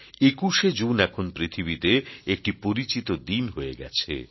২১ শে জুন এখন পৃথিবীতে একটি পরিচিত দিন হয়ে গেছে